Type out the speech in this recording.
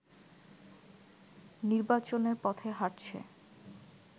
নির্বাচনের পথে হাঁটছে